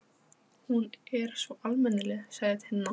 Hún er svo almennileg, sagði Tinna.